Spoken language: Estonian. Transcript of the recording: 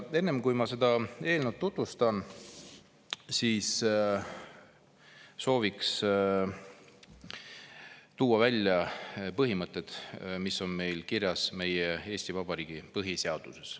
Enne, kui ma seda eelnõu tutvustan, soovin tuua välja põhimõtted, mis on kirjas meie Eesti Vabariigi põhiseaduses.